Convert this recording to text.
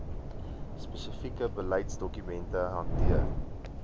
spesifieke beleidsdokumente hanteer